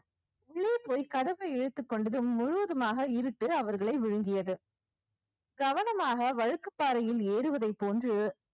உள்ளே போய் கதவை இழுத்துக் கொண்டதும் முழுவதுமாக இருட்டு அவர்களை விழுங்கியது கவனமாக வழுக்குப் பாறையில் ஏறுவதைப் போன்று